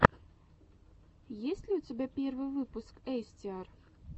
есть ли у тебя первый выпуск эстиар